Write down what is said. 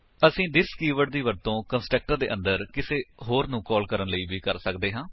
ਅਸੀ this keyword ਦੀ ਵਰਤੋ ਕੰਸਟਰਕਟਰ ਦੇ ਅੰਦਰ ਕਿਸੇ ਹੋਰ ਨੂੰ ਕਾਲ ਕਰਨ ਲਈ ਕਰ ਸੱਕਦੇ ਹਾਂ